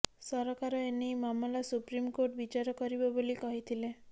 ସରକାର ଏନେଇ ମାମଲା ସୁପ୍ରିମ୍ କୋର୍ଟ ବିଚାର କରିବ ବୋଲି କହିଥିଲେ